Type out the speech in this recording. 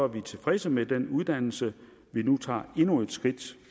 vi tilfredse med den uddannelse vi nu tager endnu et skridt